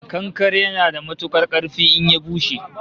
Kankare yana da matukar karfi in ya bushe